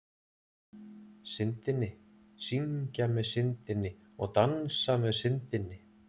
Syndinni, syngja með Syndinni og dansa með Syndinni.